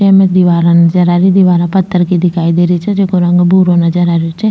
एमे दिवारा नजर आ री दिवारा पत्थर की दिखाई दे रही छे जिको रंग भूरो नजर आ रो छे।